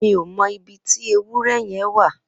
Mi ó mọ ibi ti éwùrẹ̀ yẹ̀n wà